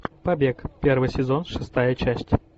побег первый сезон шестая часть